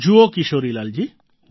જુઓ કિશોરીલાલજી